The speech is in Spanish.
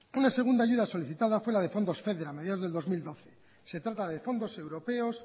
una segunda ayuda solicitada fue la de fondos feder a mediados del dos mil doce se trata de fondos europeos